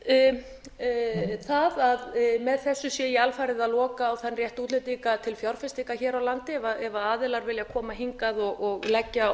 verið gagnrýnt það að með þessu sé ég alfarið að loka á þann rétt útlendinga til fjárfestinga hér á landi ef aðilar vilja koma hingað og leggja